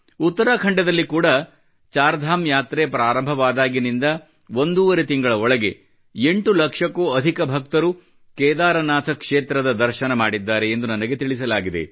ಉತ್ತರಾಖಂಡದಲ್ಲಿ ಕೂಡ ಚಾರ್ ಧಾಮ್ ಯಾತ್ರೆ ಪ್ರಾರಂಭವಾದಾಗಿನಿಂದ ಒಂದೂವರೆ ತಿಂಗಳ ಒಳಗೆ 8 ಲಕ್ಷಕ್ಕೂ ಅಧಿಕ ಭಕ್ತರು ಕೇದಾರನಾಥ ಕ್ಷೇತ್ರದ ದರ್ಶನ ಮಾಡಿದ್ದಾರೆ ಎಂದು ನನಗೆ ತಿಳಿಸಲಾಗಿದೆ